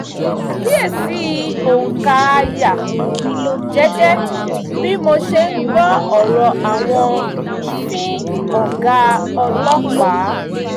mo ṣàkíyèsí òǹkà àyà jẹ́jẹ́ bí mo ṣe ń gbọ́ ọ̀rọ̀ àwọn `fin ọ̀gá ọlọ́pàá